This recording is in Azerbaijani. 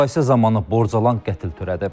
Mübahisə zamanı borcalan qətl törədib.